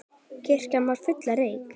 Kirkjan var full af reyk.